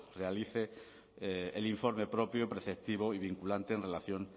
realice el informe propio preceptivo y vinculante en relación